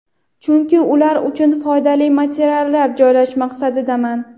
Chunki ular uchun ham foydali materiallar joylash maqsadidaman.